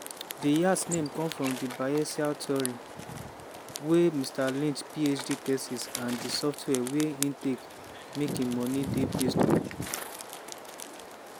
di yacht name come from di bayesian theory wey mr lynch phd thesis and di software wia e take make im money dey based on.